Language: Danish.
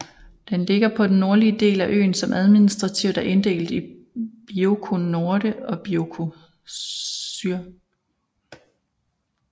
Den ligger på den nordlige del af øen som administrativt er inddelt i Bioko Norte og Bioko Sur